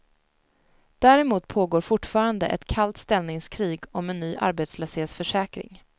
Däremot pågår fortfarande ett kallt ställningskrig om en ny arbetslöshetsförsäkring.